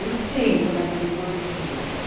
Os cinco, naquele Gordini.